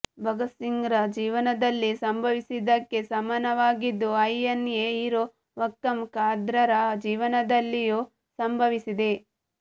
ಭಗತ್ಸಿಂಗ್ರ ಜೀವನದಲ್ಲಿ ಸಂಭಂವಿಸಿದ್ದಕ್ಕೆ ಸಮಾನವಾಗಿದ್ದು ಐಎನ್ಎ ಹೀರೋ ವಕ್ಕಂ ಖಾದರ್ರ ಜೀವನದಲ್ಲಿಯೂ ಸಂಭವಿಸಿದೆ